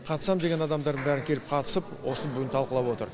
қатысамын деген адамдардың бәрі келіп қатысып осыны бүгін талқылап отыр